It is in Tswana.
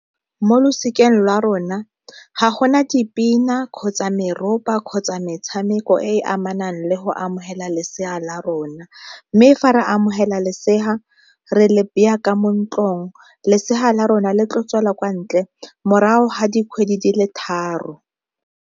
Mo losikeng la rona ga gona dipina, kgotsa meropa, kgotsa metshameko e e amanang le go amogela lesea la rona. Mme fa re amogela lesea re le baya ka mo ntlong lesea la rona le tlo tswela kwa ntle morago ga dikgwedi di le tharo.